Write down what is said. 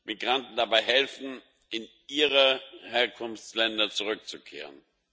Migranten dabei helfen, in ihre Herkunftsländer zurückzukehren.